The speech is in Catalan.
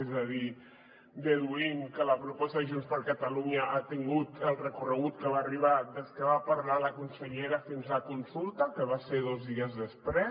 és a dir deduïm que la proposta de junts per catalunya ha tingut el recorregut a què va arribar des que va parlar la consellera fins a consulta que va ser dos dies després